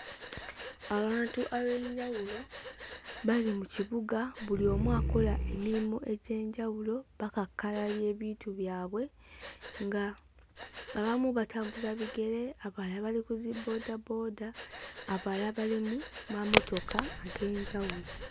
Abantu ab'enjawulo bali mu kibuga buli omu akola emirimu egy'enjawulo bakakkalabya ebintu byabwe ng'abamu batambuza bigere abalala bali ku ziboodabooda abalala bali mu mamotoka ag'enjawulo.